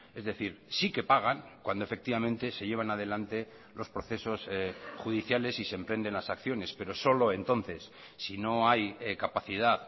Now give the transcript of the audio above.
es decir sí que pagan cuando efectivamente se llevan adelante los procesos judiciales y se emprenden las acciones pero solo entonces si no hay capacidad